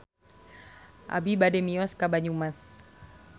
Abi bade mios ka Banyumas